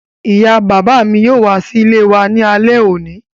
Ìyá bàbá mi yóò wá sí ilé wa ní alẹ́ òní